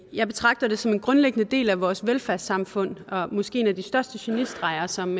jeg betragter det som en grundlæggende del af vores velfærdssamfund og måske en af de største genistreger som